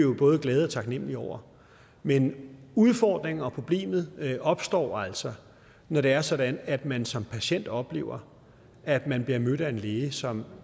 vi både glade og taknemmelige over men udfordringen og problemet opstår altså når det er sådan at man som patient oplever at man bliver mødt af en læge som